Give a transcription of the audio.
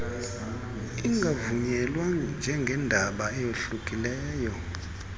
ingavunyelwa njengendaba eyohlukileyo